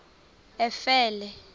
efele